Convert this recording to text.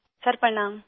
سر پرنام